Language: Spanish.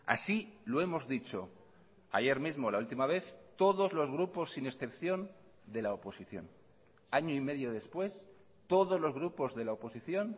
así lo hemos dicho ayer mismo la última vez todos los grupos sin excepción de la oposición año y medio después todos los grupos de la oposición